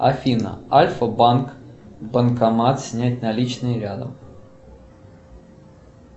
афина альфа банк банкомат снять наличные рядом